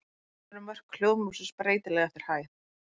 Hvers vegna eru mörk hljóðmúrsins breytileg eftir hæð?